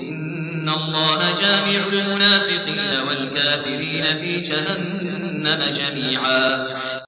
إِنَّ اللَّهَ جَامِعُ الْمُنَافِقِينَ وَالْكَافِرِينَ فِي جَهَنَّمَ جَمِيعًا